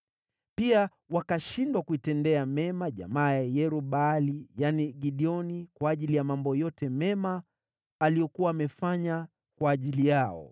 Pia wakashindwa kuitendea mema jamaa ya Yerub-Baali (yaani Gideoni) kwa ajili ya mambo yote mema aliyokuwa amefanya kwa ajili yao.